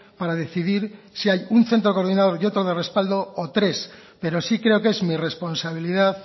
para decidir si hay un centro coordinador y otro de respaldo o tres pero sí creo que es mi responsabilidad